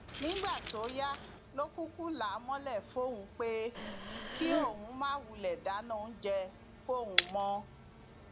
nígbà tó yá ló kúkú là á mọlẹ fóun pé kí òun máa wulẹ dáná oúnjẹ fóun mọ